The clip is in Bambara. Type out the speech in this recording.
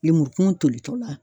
Lemurukumun tolitɔ la.